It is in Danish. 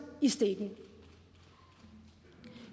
i stikken